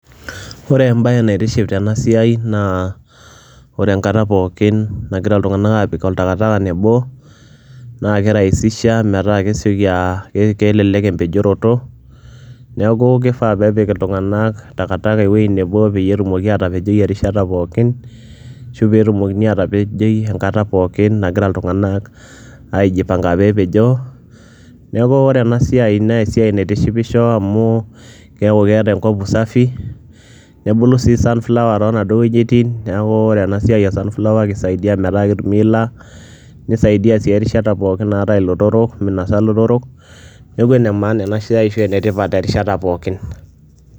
Ore embaye naitiship tena siai naa ore enkata pookin nagira iltung'anak aapik oltakataka nebo naake irahisisha metaa kesioki aaa kelelek empejoroto, neeku kifaa peepik iltung'anak takataka ewuei nebo peyie etumoki aatapejoi erishata pookin ashu peetumokini aatapejoi enkata pookin nagira iltung'anak aijipang'a pee epejoo. Neeku ore ena siai nee esiai naitishipisho amu keeku keeta enkop usafi, nebulu sii sunflower, too naduo wuejitin, neeku ore ena siai e sunflower, kisaidia metaa ketumi iila, nisaidia sii erishata pookin naatai ilotorok minasa ilotorok. Neeku ene maana ena siai ashu ene tipat erishata pookin.